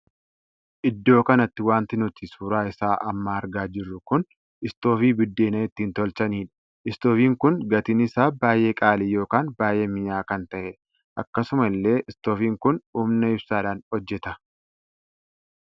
Iddoo kanatti wanti nuti suuraa isaa amma argaa jirru kun istoofii buddeena ittiin tolchanidha. istoofiin kun gatiin isaa baay'ee qaalii ykn baay'ee minya'a kan tahedha. akkasuma illee istoofiin kun humna ibsaadhaan hojjeta.